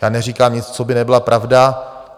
Já neříkám nic, co by nebyla pravda.